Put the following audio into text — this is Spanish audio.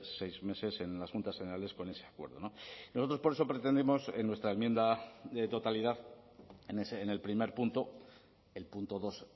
seis meses en las juntas generales con ese acuerdo nosotros por eso pretendemos en nuestra enmienda de totalidad en el primer punto el punto dos